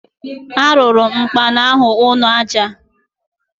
Arụụrụ m ụkpana ahụ ụnọ aja.